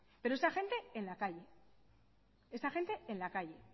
pero esa gente en la calle esa gente en la calle